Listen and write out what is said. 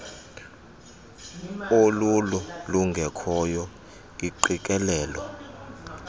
olululo lungekhoyo iingqikelelo